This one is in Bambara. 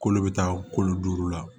Kolo bɛ taa kolo duuru la